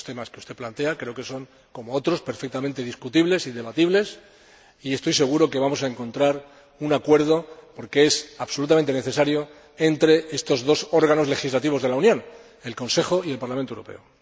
Estos temas que usted plantea creo que son, como otros, perfectamente discutibles y debatibles, y estoy seguro de que vamos a encontrar un acuerdo, porque es absolutamente necesario, entre estos dos órganos legislativos de la Unión el Consejo y el Parlamento Europeo.